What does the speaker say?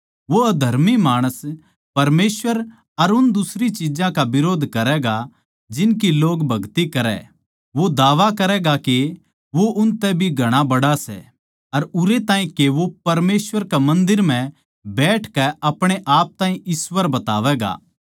वो अधर्मी माणस परमेसवर अर उन दुसरी चिज्जां का बिरोध करैगा जिनकी लोग भगति करै वो दावा करैगा के वो उनतै भी घणा बड़ा सै उरै ताहीं के वो परमेसवर के मन्दर म्ह बैठकै अपणे आप ताहीं ईश्‍वर बतावैगा